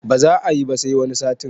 Ba za ayi ba sai wani satin